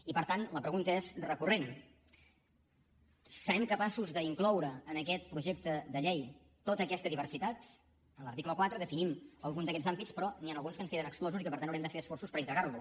i per tant la pregunta és recurrent serem capaços d’incloure en aquest projecte de llei tota aquesta diversitat en l’article quatre definim algun d’aquests àmbits però n’hi han alguns que ens queden exclosos i que per tant haurem de fer esforços per integrarlos